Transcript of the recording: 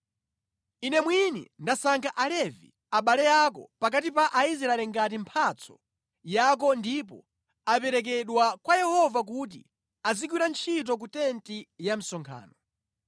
Ine mwini ndasankha Alevi, abale ako, pakati pa Aisraeli ngati mphatso yako ndipo aperekedwa kwa Yehova kuti azigwira ntchito ku tenti ya msonkhano.